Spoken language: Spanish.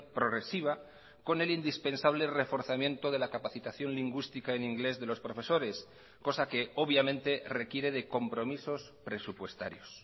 progresiva con el indispensable reforzamiento de la capacitación lingüística en inglés de los profesores cosa que obviamente requiere de compromisos presupuestarios